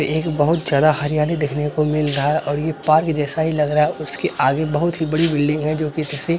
ये एक बहुत ज्यादा हरियाली देखने को मिल रहा है और ये पार्क जैसा ही लग रहा है उसके आगे बहुत ही बड़ी बिल्डिंग भी है जो किसी --